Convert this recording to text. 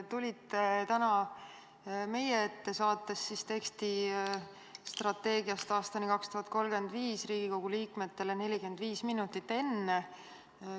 Tulite täna meie ette, saatnud teksti strateegiast aastani 2035 Riigikogu liikmetele 45 minutit enne.